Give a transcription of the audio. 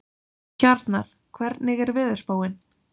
Hjarnar, hvernig er veðurspáin?